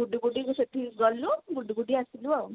ବୁଡି ବୁଡିକି ସେଠିକି ଗଲୁ ବୁଡିବୁଡି ଆସିଲୁ ଆଉ